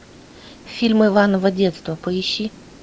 фильм иваново детство поищи